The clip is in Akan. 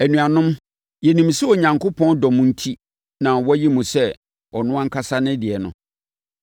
Anuanom, yɛnim sɛ Onyankopɔn dɔ mo enti na wayi mo sɛ ɔno ankasa ne deɛ no.